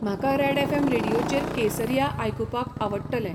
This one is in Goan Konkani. म्हाका रॅड ऍफ ऍम रेडीयोचेर केसरीया आयकुपाक आवडटलें